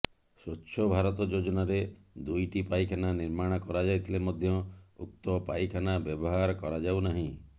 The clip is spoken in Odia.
ସ୍ବଚ୍ଛ ଭାରତ ଯୋଜନାରେ ଦୁଇଟି ପାଇଖାନା ନିର୍ମାଣ କରାଯାଇଥିଲେ ମଧ୍ୟ ଉକ୍ତ ପାଇଖାନା ବ୍ୟବହାର କରାଯାଉନାହିଁ